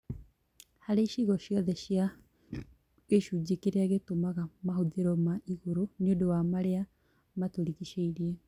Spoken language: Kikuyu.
harĩ icigo ociothe cia gĩcunjĩ kĩrĩa gĩtũmaga mahũthĩro ma igũrũ nĩũndũ wa marĩa matũrigicĩirie